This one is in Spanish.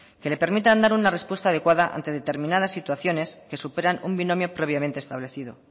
que le permitan dar una respuesta adecuada ante determinadas situaciones que superan un binomio previamente establecido